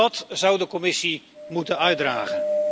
Dat zou de Commissie moeten uitdragen.